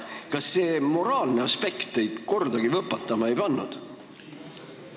Kas see moraalne aspekt teid kordagi võpatama ei pannud?